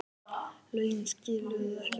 Lögin skiluðu ekki árangri